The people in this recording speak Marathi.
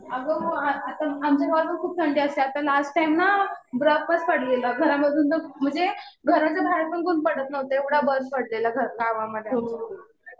अगं हो. आता आमच्या गावात पण खूप थंडी असते. आता लास्ट टाइम ना बर्फच पडलेला. घरामधून तर म्हणजे घराच्या बाहेर पण कोणी पडत नव्हतं. एवढा बर्फ पडलेला गावामध्ये आमच्या.